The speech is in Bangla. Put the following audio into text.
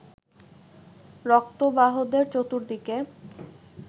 রক্তবাহদের চতুর্দিকে